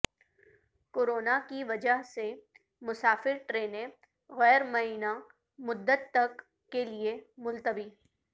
corona کی وجہ سے مسافرٹرینیں غیر معینہ مدت تک کےلئے ملتوی